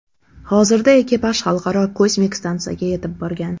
Hozirda ekipaj Xalqaro kosmik stansiyaga yetib borgan.